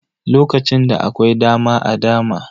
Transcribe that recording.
Lokacin da akwai dama a dama.